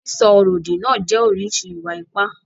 Sísọ ọ̀rọ̀-òdì náà jẹ́ oríṣi ìwà-ipá.